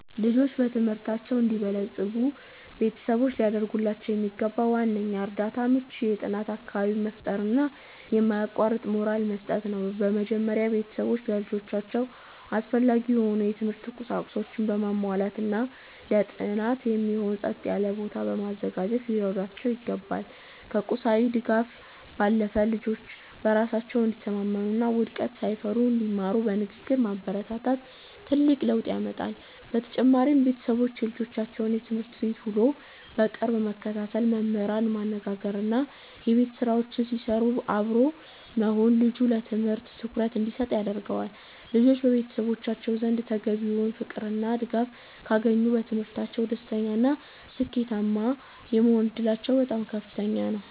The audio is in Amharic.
ልጆች በትምህርታቸው እንዲበለጽጉ ቤተሰቦች ሊያደርጉላቸው የሚገባው ዋነኛው እርዳታ ምቹ የጥናት አካባቢን መፍጠርና የማያቋርጥ ሞራል መስጠት ነው። በመጀመሪያ፣ ቤተሰቦች ለልጆቻቸው አስፈላጊ የሆኑ የትምህርት ቁሳቁሶችን በማሟላትና ለጥናት የሚሆን ጸጥ ያለ ቦታ በማዘጋጀት ሊረዷቸው ይገባል። ከቁሳዊ ድጋፍ ባለፈ፣ ልጆች በራሳቸው እንዲተማመኑና ውድቀትን ሳይፈሩ እንዲማሩ በንግግር ማበረታታት ትልቅ ለውጥ ያመጣል። በተጨማሪም፣ ቤተሰቦች የልጆቻቸውን የትምህርት ቤት ውሎ በቅርብ መከታተል፣ መምህራንን ማነጋገርና የቤት ስራቸውን ሲሰሩ አብሮ መሆን ልጁ ለትምህርቱ ትኩረት እንዲሰጥ ያደርገዋል። ልጆች በቤተሰቦቻቸው ዘንድ ተገቢውን ፍቅርና ድጋፍ ካገኙ፣ በትምህርታቸው ደስተኛና ስኬታማ የመሆን ዕድላቸው በጣም ከፍተኛ ይሆናል።